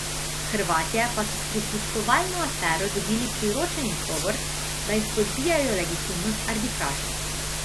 Hrvatje pa so s prisluškovalno afero dobili priročen izgovor, da izpodbijajo legitimnost arbitraže.